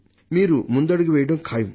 మీరు ముందడుగు వేయడం ఖాయం